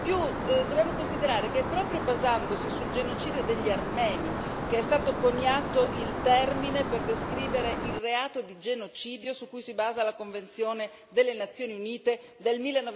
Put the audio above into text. In più, dobbiamo considerare che proprio basandosi sul genocidio degli armeni che è stato coniato il termine per descrivere il reato di genocidio su cui si basa la convenzione delle Nazioni Unite del